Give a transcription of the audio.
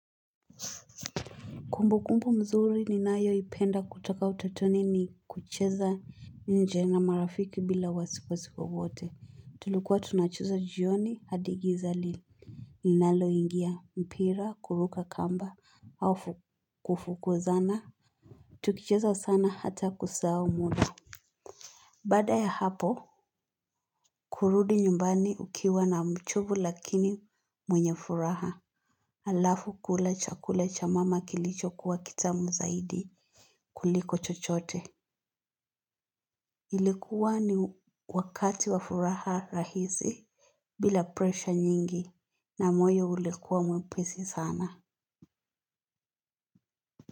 Kumbukumbu mzuri ninayo ipenda kutoka utatoni ni kucheza nje na marafiki bila wasiwasi wowote. Tulikuwa tunacheza jioni hadigiza. Ninalo ingia, mpira, kuruka kamba, hafu kufukuzana. Tukicheza sana hata kusahau muda. Bada ya hapo, kurudi nyumbani ukiwa na mchovu lakini mwenye furaha. Alafu kula chakula cha mama kilicho kuwa kitamu zaidi kuliko chochote. Ilikuwa ni wakati wafuraha rahisi bila presha nyingi na moyo ulikuwa mwepisi sana.